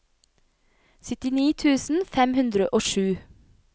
syttini tusen fem hundre og sju